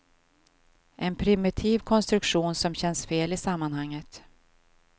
En primitiv konstruktion som känns fel i sammanhanget.